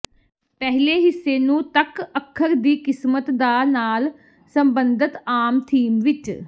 ਪਹਿਲੇ ਹਿੱਸੇ ਨੂੰ ਤੱਕ ਅੱਖਰ ਦੀ ਕਿਸਮਤ ਦਾ ਨਾਲ ਸਬੰਧਤ ਆਮ ਥੀਮ ਵਿੱਚ